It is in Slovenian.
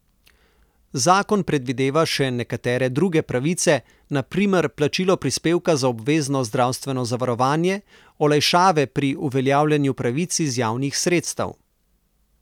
Zakon predvideva še nekatere druge pravice, na primer plačilo prispevka za obvezno zdravstveno zavarovanje, olajšave pri uveljavljanju pravic iz javnih sredstev...